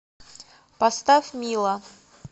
поставь мила